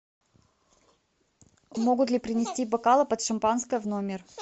могут ли принести бокалы под шампанское в номер